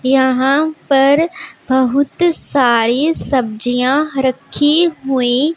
यहां पर बहुत सारी सब्जियां रखी हुई--